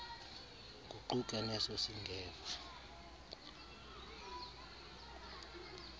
kuquka neso singeva